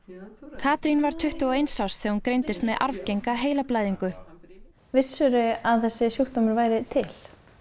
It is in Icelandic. Katrín var tuttugu og eins árs þegar hún greindist með arfgenga heilablæðingu vissirðu að þessi sjúkdómur væri til